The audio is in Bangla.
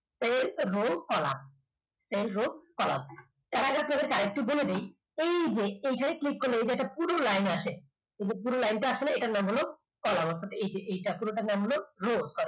সেই column rowcolumn একটু বলে দিই এই যে এখানে click করলে এখানে একটা পুরো line আছে। এই পুরো line টা আসলে এটার নাম হলো column আর এই যে এই পুরোটার নাম হলো row